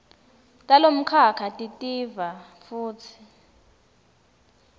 talomkhakha titiva futsi